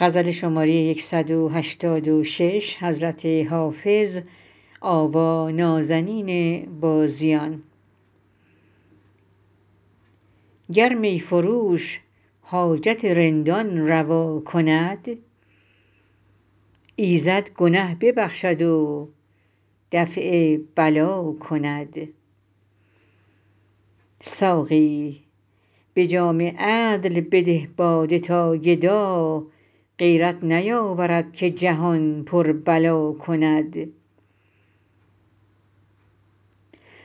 گر می فروش حاجت رندان روا کند ایزد گنه ببخشد و دفع بلا کند ساقی به جام عدل بده باده تا گدا غیرت نیاورد که جهان پر بلا کند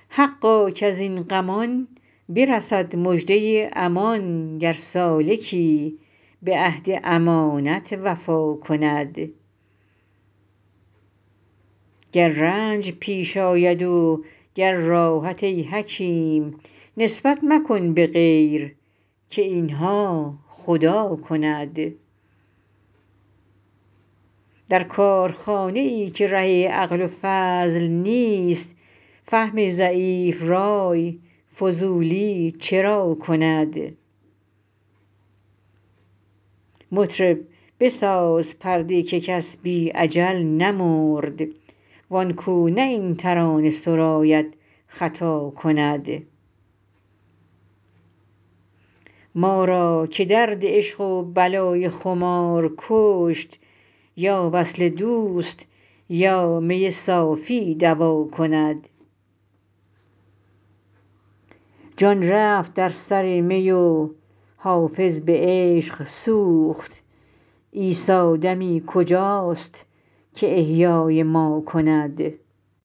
حقا کز این غمان برسد مژده امان گر سالکی به عهد امانت وفا کند گر رنج پیش آید و گر راحت ای حکیم نسبت مکن به غیر که این ها خدا کند در کارخانه ای که ره عقل و فضل نیست فهم ضعیف رای فضولی چرا کند مطرب بساز پرده که کس بی اجل نمرد وان کو نه این ترانه سراید خطا کند ما را که درد عشق و بلای خمار کشت یا وصل دوست یا می صافی دوا کند جان رفت در سر می و حافظ به عشق سوخت عیسی دمی کجاست که احیای ما کند